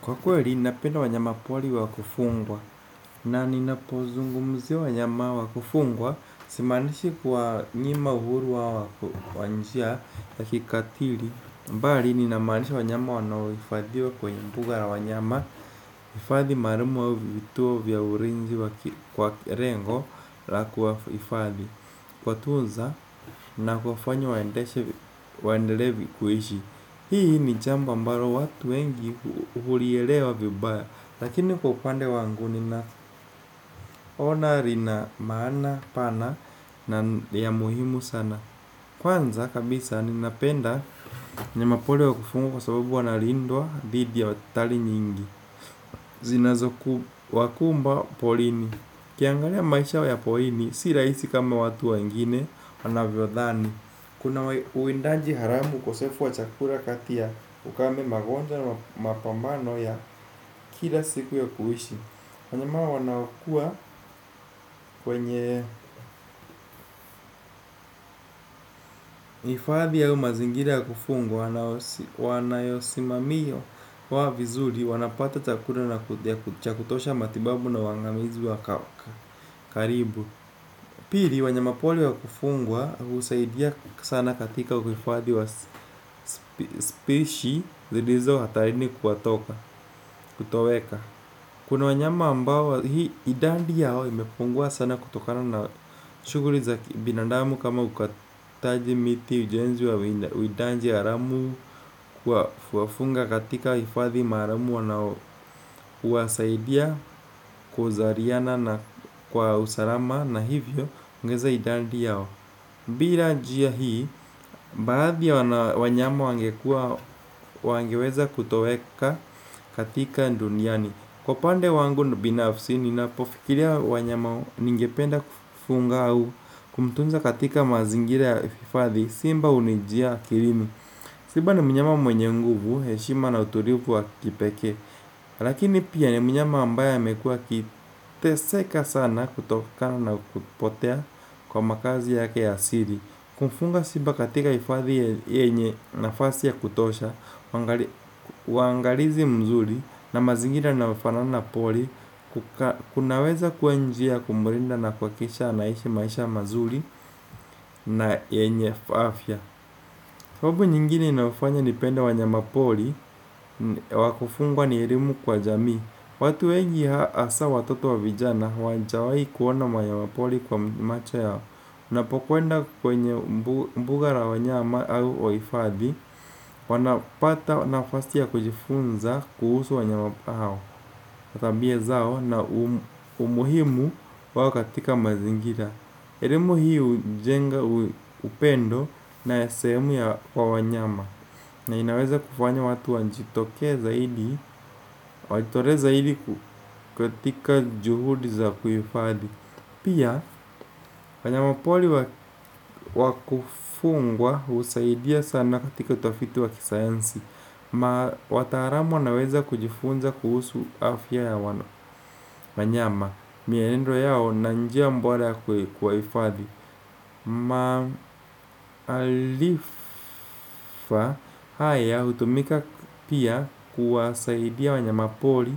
Kwa kweli, napenda wanyama pori wa kufungwa na ninapozungumzia wanyama wa kufungwa simaanishi kuwanyima uhuru wao kwa njia ya kikatili. Bali, ninamaanisha wanyama wanohifadhiwa kwenye mbuga wa wanyama hifadhi maalumu au vituo vya ulinzi wa kwa lengo la kuwahifadhi. Kuwatunza, na kuwafanya waendelee kuishi. Hii ni jambo ambalo watu wengi hulielewa vibaya. Lakini kwa upande wanguni nina ona lina maana pana na ya muhimu sana. Kwanza kabisa ninapenda mnyama pori wa kufungwa kwa sababu wanalindwa dhidi ya hatari nyingi zinazokuwakumba porini ukiangalia maisha wa ya porini si rahisi kama watu wengine wanavyodhani. Kuna uwindaji haramu ukosefu wa chakula kati ya ukame magonjwa na mapambano ya kila siku ya kuishi. Wanyama wanaokua kwenye hifadhi au mazingira ya kufungwa wanayosimamiyo wao vizuri wanapata chakula cha kutosha matibabu na uangamizi wa karibu. Pili wanyama pori wa kufungwa husaidia sana katika uhifadhi wa spishi zilizo hatarini kuwatoka kutoweka. Kuna wanyama ambao hii idadi yao imepungua sana kutokano na shuguli za kibinandamu kama ukataji miti ujenzi wa uwindaji haramu. Kuwafunga katika hifadhi maalumu wanao huwasaidia kuzaliana na kwa usalama na hivyo ongeza idadi yao. Bila njia hii, baadhi ya wanyama wangekuwa, wangeweza kutoweka katika duniani. Kwa upande wangu binafsi, ninapofikiria wanyama ningependa kufunga au kumtunza katika mazingira ya hifadhi, simba hunijia akilini. Simba ni mnyama mwenye nguvu, heshima na utulivu wa kipekee. Lakini pia ni mnyama ambaye amekuwa akiteseka sana kutokana na kupotea kwa makazi yake ya siri. Kumfunga simba katika hifadhi yenye nafasi ya kutosha, uangalizi mzuri na mazingira yanayofanana pori, kunaweza kuwa njia ya kumlinda na kuhakisha anaishi maisha mazuri na yenye afya. Sababu nyingine inayofanya nipende wanyama pori wa kufungwa ni elimu kwa jamii. Watu wengi hasa watoto wa vijana hawajawai kuona wanyama pori kwa macho yao. Unapokwenda kwenye mbuga la wanyama au hifadhi wanapata nafasi ya kujifunza kuhusu wanyama hao tambia zao na umuhimu wao katika mazingira. Elimu hii hujenga upendo na ya sehemu ya wanyama. Na inaweza kufanya watu wajitoke zaidi. Wajitolee zaidi kutika juhudi za kuhifadi. Pia, wanyama pori wa kufungwa husaidia sana katika utafiti wa kisayansi. Ma wataalamu wanaweza kujifunza kuhusu afya ya wana. Wanyama, mienendo yao na njia bora ya kuwahifadi. Maarifa haya hutumika pia kuwasaidia wanyama pori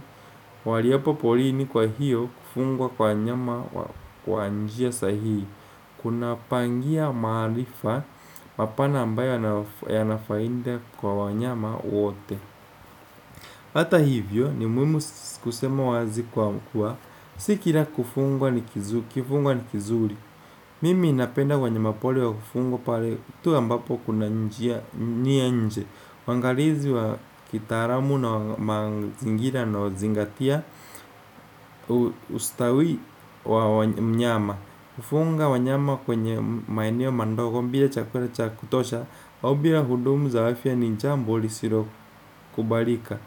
waliopo porini kwa hiyo kufungwa kwa nyama. Kwa njia sahihi. Kuna pangia maarifa mapana ambayo yana faida kwa wanyama wote. Hata hivyo ni muhimu kusema wazi kwa kuwa si kila kufungwa ni kizuri. Mimi ninapenda wanyama pori wa kufungwa pale tu ambapo kuna njia nia nje waangalizi wa kitaalamu na wa mazingira yanayozingatia ustawi wa mnyama. Kufunga wanyama kwenye maeneo mandogo bila chakula cha kutosha au bila huduma za afya ni jambo lisilokubalika.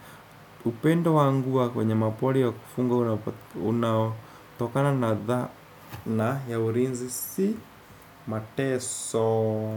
Upendo wangu wa wanyama pori wa kufungwa unaotokana na dhana, ya ulinzi si mateso.